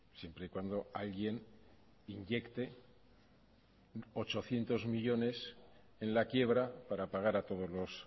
siempre y cuando alguien inyecte ochocientos millónes en la quiebra para pagar a todos los